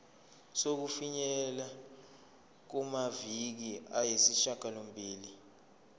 sokufinyelela kumaviki ayisishagalombili